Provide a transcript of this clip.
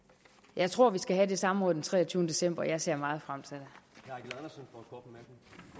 jeg tror vi skal have det samråd den treogtyvende december og jeg ser meget frem til det